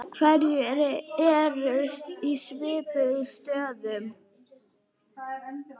Hverjir eru í svipuðum stöðum?